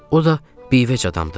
O da bivəc adamdır.